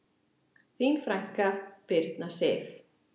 Þín frænka, Birna Sif.